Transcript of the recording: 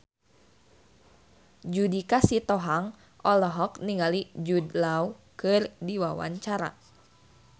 Judika Sitohang olohok ningali Jude Law keur diwawancara